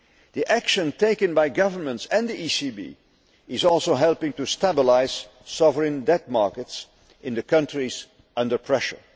The action taken by governments and the ECB is also helping to stabilise sovereign debt markets in the countries under pressure.